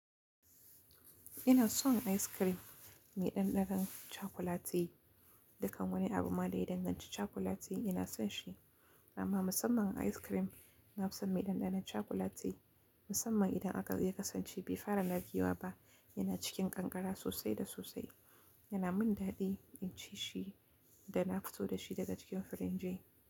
Ina son ice cream mai ɗanɗanon cakuleti. Dukan wani abu ma da ya danganci cakuleti ina son shi, amma musamman ice cream na fi son mai ɗanɗanon cakuleti. Musamman idan aka yi kasance bai fara narkewa ba, yana cikin ƙanƙara sosai da sosai, yana min daɗi in ci shi da na fito da shi daga cikin firinji.